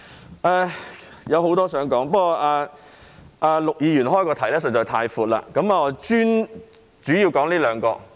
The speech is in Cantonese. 我還有很多事情想說，但陸議員的議題實在太闊，我主要說這兩項。